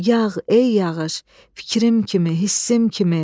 Yağ, ey yağış, fikrim kimi, hissim kimi.